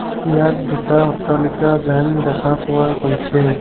ইয়াত দুটা অট্টালিকা যেন দেখা পোৱা গৈছে।